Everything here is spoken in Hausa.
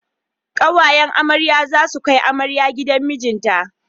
Ƙawayen amarya za su kai amaryar gidan mijinta.